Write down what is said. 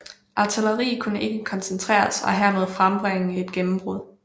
Artilleri kunne ikke koncentreres og hermed frembringe et gennembrud